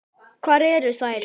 Hvar eru þær?